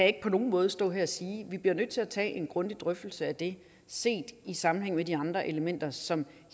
ikke på nogen måde stå her og sige vi bliver nødt til at tage en grundig drøftelse af det set i sammenhæng med de andre elementer som